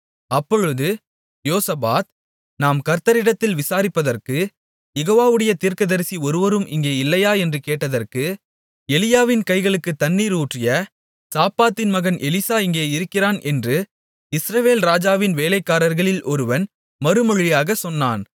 அப்பொழுது யோசபாத் நாம் கர்த்தரிடத்தில் விசாரிப்பதற்கு யெகோவாவுடைய தீர்க்கதரிசி ஒருவரும் இங்கே இல்லையா என்று கேட்டதற்கு எலியாவின் கைகளுக்குத் தண்ணீர் ஊற்றிய சாப்பாத்தின் மகனாகிய எலிசா இங்கே இருக்கிறான் என்று இஸ்ரவேல் ராஜாவின் வேலைக்காரர்களில் ஒருவன் மறுமொழியாகச் சொன்னான்